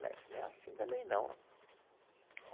Não é assim também, não.